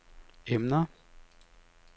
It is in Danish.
emner